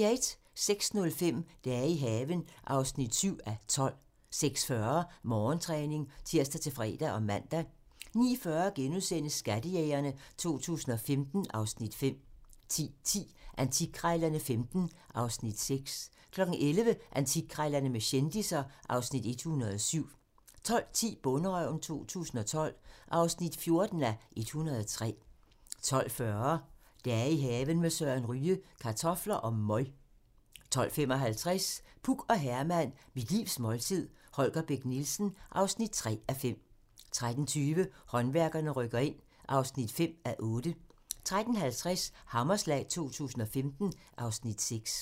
06:05: Dage i haven (7:12) 06:40: Morgentræning (tir-fre og man) 09:40: Skattejægerne 2015 (Afs. 5)* 10:10: Antikkrejlerne XV (Afs. 6) 11:00: Antikkrejlerne med kendisser (Afs. 107) 12:10: Bonderøven 2012 (14:103) 12:40: I haven med Søren Ryge: Kartofler og møg 12:55: Puk og Herman - Mit livs måltid - Holger Bech Nielsen (3:5) 13:20: Håndværkerne rykker ind (5:8) 13:50: Hammerslag 2015 (Afs. 6)